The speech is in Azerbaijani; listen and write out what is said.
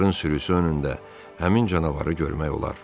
Onların sürüsü önündə həmin canavarı görmək olar.